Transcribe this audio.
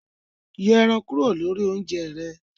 Yọ èràn kúrò ninú oúnjẹ rẹ